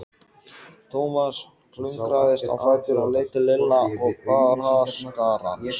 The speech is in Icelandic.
Thomas klöngraðist á fætur og leit til Lilla og Braskarans.